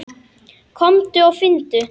Komdu og finndu!